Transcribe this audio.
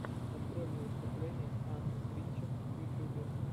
открой мне выступление анны тринчер в ютьюбе